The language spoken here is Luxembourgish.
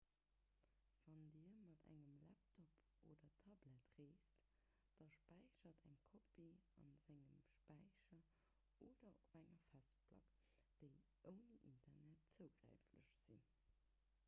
wann dir mat engem laptop oder tablet reest da späichert eng kopie a sengem späicher oder op der festplack déi ouni internet zougänglech sinn